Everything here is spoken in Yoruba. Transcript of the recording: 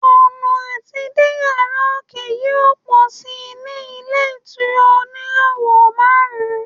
ọnà ati dé yara oke yíò pọ sí ní ilé ìtura oníràwò marun